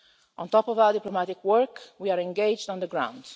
On top of our diplomatic work, we are engaged on the ground.